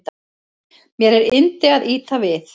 Mér er yndi að ýta við